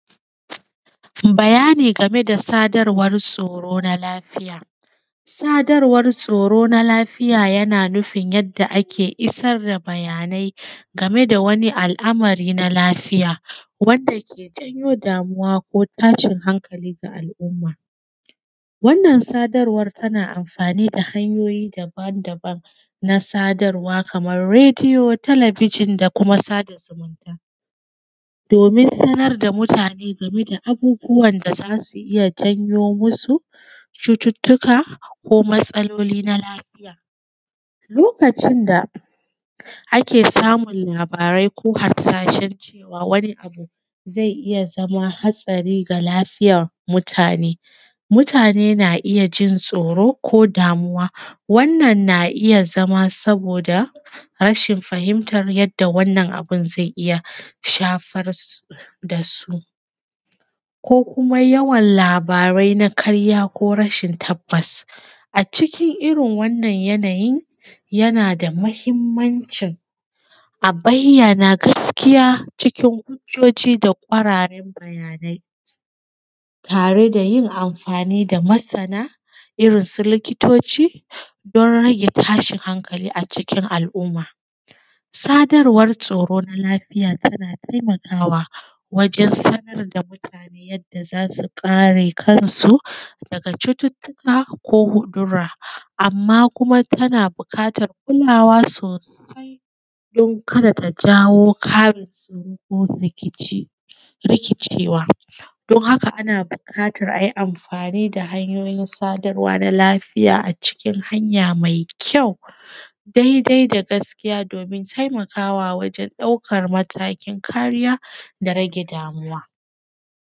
Bayani game da sadarwan tsoro na lafiya. Sadarwan tsoro na lafiya yana nufin yadda ake isar da bayanai game da wani al’amari na lafiya wanda ke jawo damuwa ko tashin hankali ga al’umma. Wannan sadarwan tana amfani da hanyoyin daban daban na sadarwa kaman rediyo, talabijin, da kuma sada zumumta domin sanar da mutane game da abubuwan za su iya janyo musu cututuka ko matsaloli na lafiya. Lokacin da ake samun labarai ko harsashan wani abu zai iya zama hatsari ga lafiyan mutane, mutane na iya jin tsoro ko damuwa wannan na iya zama saboda rashin fahimtar yadda wannan abun zai iya shafar da su. Ko kuma yawan labarai na ƙa rya ko na rashin tabbas. A cikin irin wanan yanayi yana da mahimmamcin a bayyana gaskiya cikin hujoji da ƙwararen bayanai tare da yin amfani da masana irin su likitoci don rage tashin hankalin alumma. Sadarwan tsoro na lafiya tana taimaka wa wajan sanar da mutane yanda za su kare kansu daga cututuka ko wudura. Amma kuma tana buƙatar kulawa sosai don kada ta jawo ƙarin tsoro ko rikici, rikicewa don haka ana buƙatar a yi amfani da hanyoyin sadarwa na lafiya a cikin hanya mai kyau daidai da gaskiya domin taimakawa wajan ɗaukan matakin kariya da rage damuwa.